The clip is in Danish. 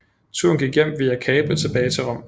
Turen hjem gik via Capri tilbage til Rom